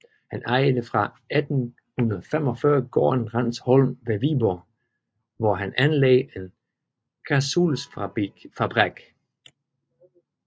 Han ejede fra 1845 gården Rindsholm ved Viborg hvor han anlagde en kradsuldsfabrik